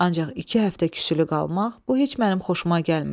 Ancaq iki həftə küsülü qalmaq bu heç mənim xoşuma gəlmir.